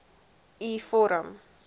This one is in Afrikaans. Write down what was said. u vorm